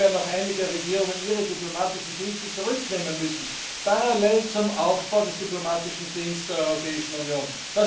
Daher werden auch einige Regierungen ihre diplomatischen Dienste zurücknehmen müssen, parallel zum Aufbau des diplomatischen Dienstes der Europäischen Union.